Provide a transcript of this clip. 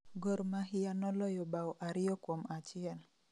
gor mahia noloyo bao ariyo - achiel